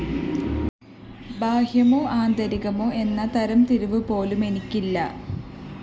ബാഹ്യമോ ആന്തരീകമോ എന്ന തരംതിരിവുപോലുംഎനിക്കില്ല